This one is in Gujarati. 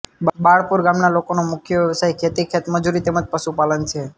બાળરપુર ગામના લોકોનો મુખ્ય વ્યવસાય ખેતી ખેતમજૂરી તેમ જ પશુપાલન છે